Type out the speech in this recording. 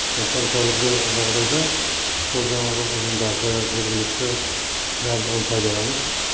сондықтан қазіргі жағдайда сол жаңағы ұжымдарды жергілікті барлығын пайдаланып